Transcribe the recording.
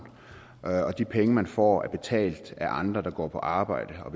og de penge man får er betalt af andre der går på arbejde og